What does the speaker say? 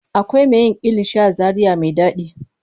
Akwai me yin kilishi a zaria me ɗaɗi.